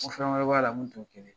N k fɛnwɛrɛ b'a la min t'o kelen ye .